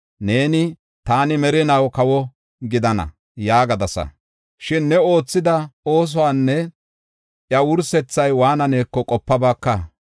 Neeni, ‘Taani merinaw kawo gidana’ yaagadasa; shin ne oothida oosuwanne iya wursethay waananeko qopabaaka.